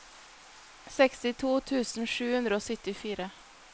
sekstito tusen sju hundre og syttifire